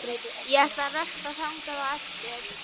Ég ætla að rölta þangað á eftir.